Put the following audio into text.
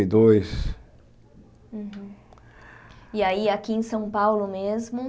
E dois E aí, aqui em São Paulo mesmo?